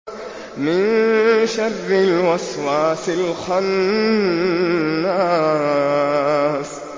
مِن شَرِّ الْوَسْوَاسِ الْخَنَّاسِ